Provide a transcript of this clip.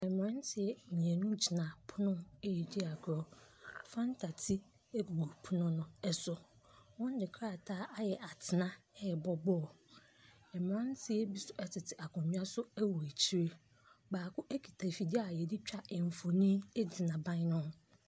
Mmranteɛ mienu ɛgyina pono ho ɛɛdi agorɔ. Fanta ti ɛgu pono ɛso. Wɔn de krataa ayɛ atena ɛɛbɔ bɔɔlo. Mmranteɛ bi nso ɛtete akonwa so ɛwɔ akyire, baako ɛkita afidie a yɛde twa mfoni ɛgyina ɛban no ho.